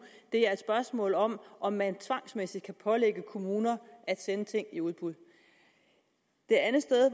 er et spørgsmål om at man tvangsmæssigt kan pålægge kommuner at sende ting i udbud et andet sted